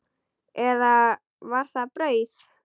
Eða var það brauð?